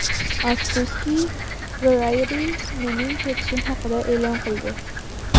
Afsuski, Variety mening ketishim haqida e’lon qildi.